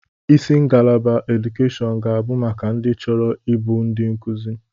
Isi ngalaba edukeshọn ga abụ maka ndị chọrọ ịbụ ndi nkuzi.